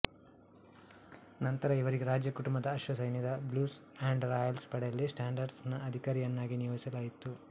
ನಂತರ ಇವರಿಗೆ ರಾಜಕುಟುಂಬದ ಅಶ್ವಸೈನ್ಯದ ಬ್ಲ್ಯೂಸ್ ಅಂಡ್ ರಾಯಲ್ಸ್ ಪಡೆಯಲ್ಲಿ ಸ್ಯಾಂಡ್ಹರ್ಸ್ಟ್ ನ ಅಧಿಕಾರಿಯನ್ನಾಗಿ ನಿಯೋಜಿಸಲಾಯಿತು